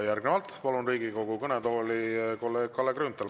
Järgnevalt palun Riigikogu kõnetooli kolleeg Kalle Grünthali.